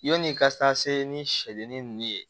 Yanni i ka taa se ni sɛ ni nunnu ye